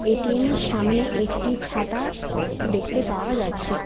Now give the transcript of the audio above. এটিএমের সামনে একটি ছাতা দেখতে পাওয়া যাচ্ছে।